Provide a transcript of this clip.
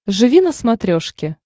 живи на смотрешке